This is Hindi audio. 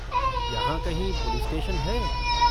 यहाँ कहीं पुलिस स्टेशन है?